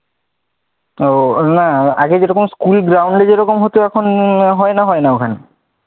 ও না আগে যেরকম school ground এ যেরকম হতো, এখন হয়না হয় না ওখানে,